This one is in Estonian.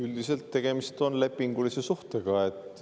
Üldiselt on tegemist lepingulise suhtega.